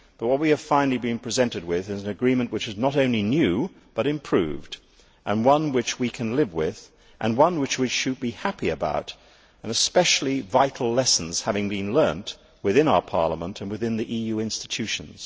What we are finally being presented with is an agreement which is not only new, but improved one which we can live with, and one which we should be happy about, especially with vital lessons having been learned within our Parliament and within the EU institutions.